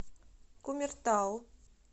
кумертау